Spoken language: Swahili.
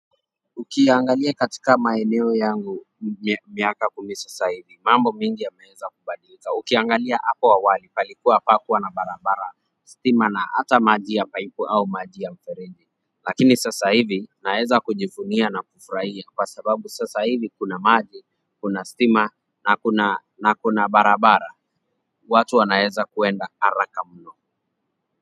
Ukiangalia katika maeneo yangu miaka kumi sasa hivi mambo mingi yameweza kubadilika ukiangalia hapo awali palikuwa hapakuwa na barabara stima na hata maji ya paipu au maji ya mfereji lakini sasa hivi naeza kujivunia na kufurahia kwa sababu sasa hivi kuna maji kuna stima na kuna barabara, watu wanaweza kuenda haraka mno.